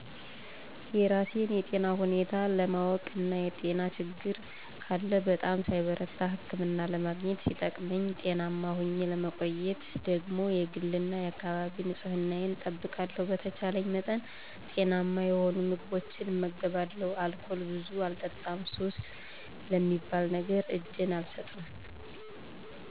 የራሴን የጤና ሁኔታ ለማወቅ እና የጤና ችግር ካለ በጣም ሳይበረታ ህክምና ለማግኘት ሲጠቅመኝ ጤናማ ሁኘ ለመቆየትደግሞ የግል እና የአካባቢ ንጽህናየን እጠብቃለሁ፣ በተቻልኝ መጠን ጤናማ የሆኑ ምግቦችን እመገባለሁ፣ አልኮል ብዙ አልጠጣም፣ ሱስ ለሚባል ነገር እጀን አልሰጥም።